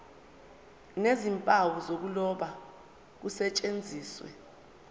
nezimpawu zokuloba kusetshenziswe